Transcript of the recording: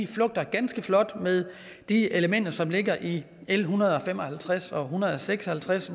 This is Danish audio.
flugter ganske flot med de elementer som ligger i l en hundrede og fem og halvtreds og hundrede og seks og halvtreds